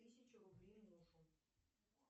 тысячу рублей мужу